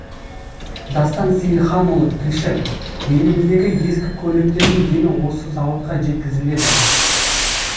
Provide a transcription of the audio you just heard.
дастан сейілханұлы тілші еліміздегі ескі көліктердің дені осы зауытқа жеткізіледі